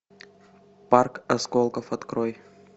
парк осколков открой